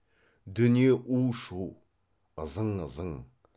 дүние у шу ызың ызың